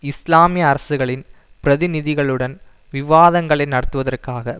இஸ்லாமிய அரசுகளின் பிரதிநிதிகளுடன் விவாதங்களை நடத்துவதற்காக